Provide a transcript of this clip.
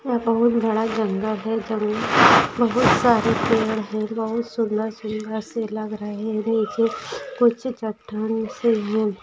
यह बहुत बड़ा जंगल है जंगल बहुत सारे पेढ है बहुत सुंदर सुंदर से लग रहे है नीचे कुछ चट्टण से है।